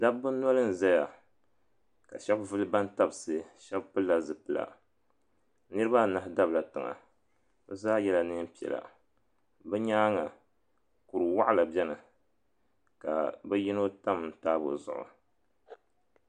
Dabba noli n zaya ka shɛba vili bantabsi shɛba pilila zipila niriba anahi dabla tiŋa bɛ zaa yrla niɛn piɛla bɛ nyaanga kuriwaɣala beni ka bɛ yino tam taabo zuɣu.